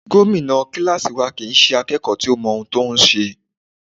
Gómìnà kíláàsì wa kìí ṣe akẹ́kọ̀ọ́ tó ń mọ n tó ń ṣe.